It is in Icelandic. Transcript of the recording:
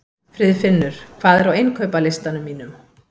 Friðfinnur, hvað er á innkaupalistanum mínum?